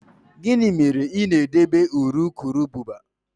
Gịnị mere ị na-edebe urukurubụba?